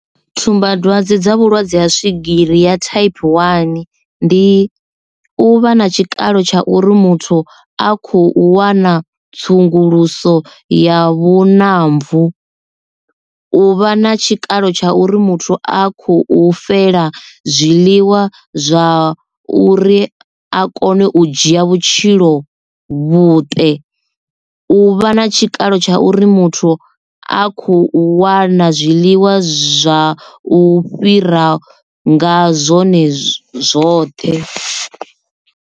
Tsumbadwadze dza vhulwadze ha swigiri ya thaiphi wani ndi u vha na tshikalo tsha uri muthu a khou wana tsunguluso ya vhu namvu u vha na tshikalo tsha uri muthu a khou fela zwiḽiwa zwa uri a kone u dzhia vhutshilo vhuṱe u vha na tshikalo tsha uri muthu a kho wana zwiḽiwa zwa u fhira nga zwone zwoṱhe.